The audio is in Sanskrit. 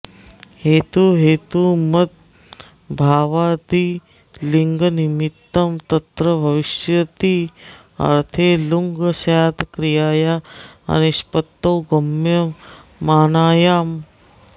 हेतुहेतुमद्भावादि लिङ्निमित्तं तत्र भविष्यत्यर्थे ऌङ् स्यात् क्रियाया अनिष्पत्तौ गम्यमानायाम्